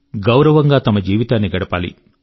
గౌరవం గా తమ జీవితాన్ని గడపాలి